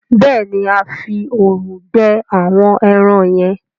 béèni a fí òòrùn gbẹ àwọn èràn yen.